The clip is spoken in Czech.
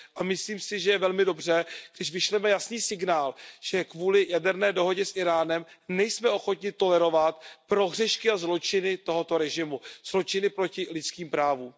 Myslím si, že je velmi dobře, když vyšleme jasný signál, že kvůli jaderné dohodě s Íránem nejsme ochotni tolerovat prohřešky a zločiny tohoto režimu, zločiny proti lidským právům.